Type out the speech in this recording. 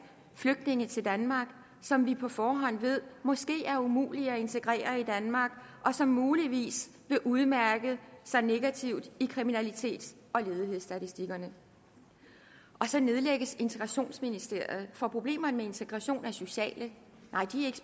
flygtninge til danmark som vi på forhånd ved måske er umulige at integrere i danmark og som muligvis vil udmærke sig negativt i kriminalitets og ledighedsstatistikkerne så nedlægges integrationsministeriet for problemer med integration er sociale nej de